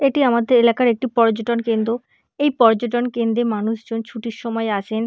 এটি আমাদের এলাকার একটি পর্যটন কেন্দ্র । এই পর্যটন কেন্দ্রে মানুষজন ছুটির সময় আসেন।